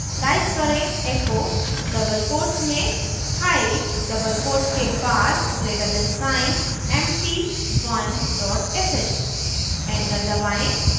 type करें: echo double quotes में hiii double quotes के बाद greater sign sign empty one dot sh enter दबाएं